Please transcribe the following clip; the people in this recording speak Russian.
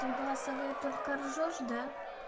ты в голосовые только ржёшь да